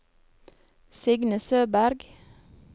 Signe Søberg